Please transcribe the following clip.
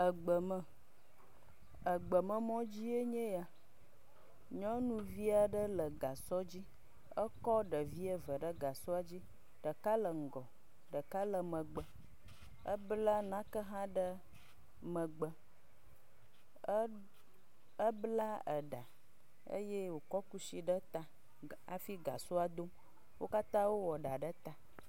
Egbe me, egbe me mɔ dzie nye ya, nyɔnuvi aɖe le gasɔ dzi ekɔ ɖevi eve ɖe gasɔ dzi, ɖeka le ŋgɔ ɖeka le megbe. Ebla nake hã ɖe megbe. E…ebla eɖa eye wòkɔ kushi ɖe ta. Wo katã wowɔ eɖa ɖe ta.